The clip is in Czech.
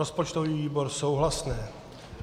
Rozpočtový výbor - souhlasné.